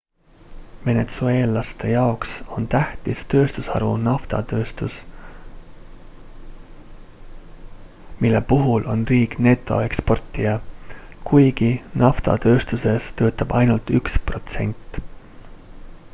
venetsueellaste jaoks on tähtis tööstusharu naftatööstus mille puhul on riik netoeksportija kuigi naftatööstuses töötab ainult üks protsent